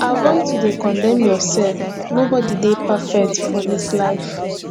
avoid to de condemn yourself nobody de perfect for this life